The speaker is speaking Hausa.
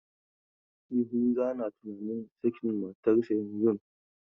Yahuza na tunanin sakin matarsa yanzun.